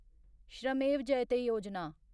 श्रमेव जयते योजना